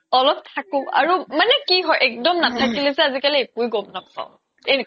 অলপ থাকো মানে কি হয় এক্দম নাথাকিলে যে আজিকালি একোয়ে গ্'ম নাপাও